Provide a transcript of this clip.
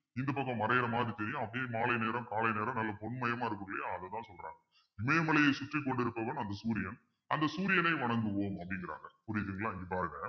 இந்தப் பக்கம் மறையற மாதிரி தெரியும் அப்படியே மாலை நேரம் காலை நேரம் நல்லா பொன்மயமா இருக்கும் இல்லையா அதைத்தான் சொல்றாங்க இமயமலையை சுற்றிக் கொண்டிருப்பவன் அந்த சூரியன் அந்த சூரியனை வணங்குவோம் அப்படிங்கிறாங்க புரியுதுங்களா இங்க பாருங்க